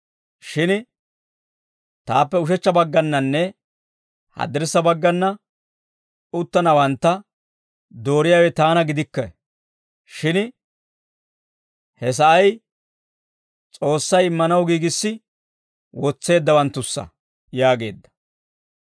Shin taappe ushechcha baggannanne haddirssa baggana uttanawantta dooriyaawe taana gidikke; shin he sa'ay S'oossay immanaw giigissi wotseeddawanttussa» yaageedda.